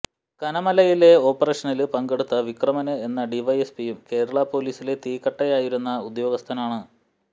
കനമലയിലെ ഓപ്പറേഷനില് പങ്കെടുത്ത വിക്രമന് എന്ന ഡിവൈഎസ്പിയും കേരള പോലീസിലെ തീക്കട്ടയായിരുന്ന ഉദ്യോഗസ്ഥനാണ്